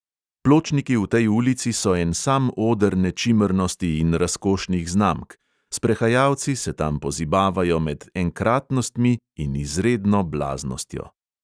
Pločniki v tej ulici so en sam oder nečimrnosti in razkošnih znamk, sprehajalci se tam pozibavajo med enkratnostmi in izredno blaznostjo.